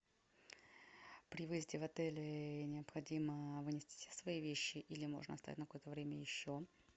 при выезде в отеле необходимо вынести все свои вещи или можно оставить на какое то время еще